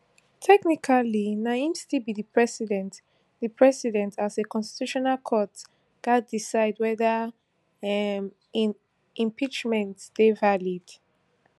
technically na im still be di president di president as a constitutional court gatz decide weda um im impeachment dey valid